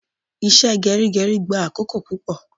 Ìṣe gerigeri gba akoko pupo